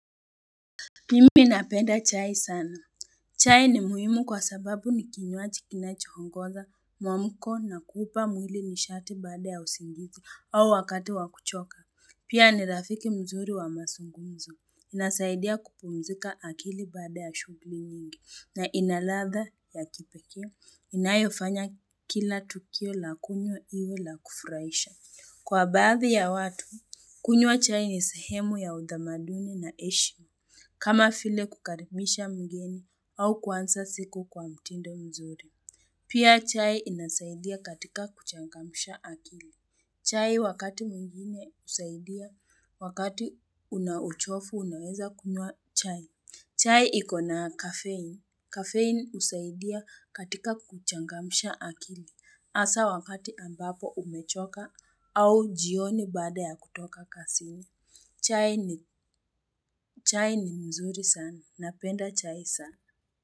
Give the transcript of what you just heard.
Mimi napenda chai sana. Chai ni muhimu kwa sababu ni kinywaji kinachoongoza mwamuko na kuupa mwili nishati baada ya usingizi au wakati wa kuchoka. Pia ni rafiki mzuri wa mazungumzo. Inasaidia kupumzika akili baada ya shughuli nyingi. Na ina ladha ya kipekee inayofanya kila tukio la kunywa iwe la kufurahisha. Kwa baadhi ya watu, kunywa chai ni sehemu ya utamaduni na heshima. Kama vile kukaribisha mgeni au kuanza siku kwa mtindo mzuri. Pia chai inasaidia katika kuchangamsha akili. Chai wakati mwingine husaidia, wakati una uchovu unaweza kunywa chai. Chai iko na kafein. Kafein usaidia katika kuchangamisha akili. Hasa wakati ambapo umechoka au jioni baada ya kutoka kazini. Chai ni mzuri sana napenda chai sana.